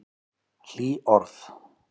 Hlý orð.